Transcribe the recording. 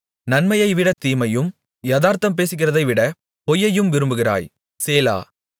நன்மையைவிட தீமையையும் யாதார்த்தம் பேசுகிறதைவிட பொய்யையும் விரும்புகிறாய் சேலா